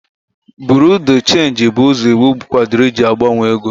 Buro de chenji bụ ụzọ iwu kwadoro iji na-agbanwe ego.